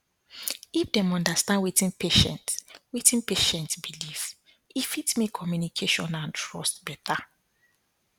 if dem understand wetin patient wetin patient believe e fit make communication and trust better